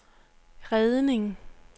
redning